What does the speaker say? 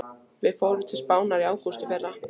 Við fórum til Spánar í ágúst í fyrra.